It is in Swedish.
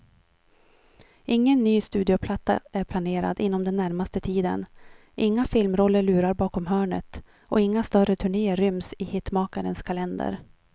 Ingen ny studioplatta är planerad inom den närmaste tiden, inga filmroller lurar bakom hörnet och inga större turnéer ryms i hitmakarens kalender.